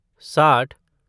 साठ